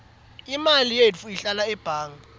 imali yetfu ihlala ebhange